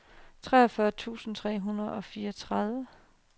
treogfyrre tusind tre hundrede og fireogtredive